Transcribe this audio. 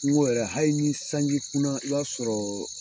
N ko yɛrɛ hali ni sanji kunna i b'a sɔrɔ